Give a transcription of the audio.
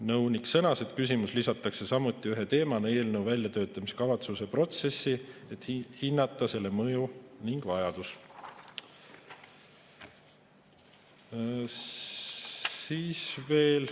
Nõunik sõnas, et küsimus lisatakse samuti ühe teemana eelnõu väljatöötamiskavatsuse protsessi, et hinnata selle mõju ning vajadust.